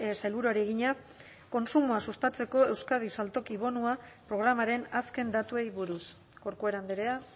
sailburuari egina kontsumoa sustatzeko euskadi saltoki bonua programaren azken datuei buruz corcuera andrea